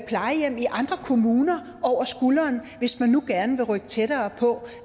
plejehjem i andre kommuner over skulderen hvis man nu gerne vil rykke tættere på